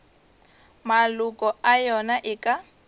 maloko a yona e ka